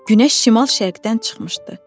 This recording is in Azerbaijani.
Günəş şimal-şərqdən çıxmışdı.